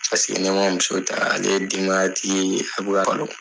Paseke ne ma muso taa ale ye denbaya tigi ye di a buran kanɔ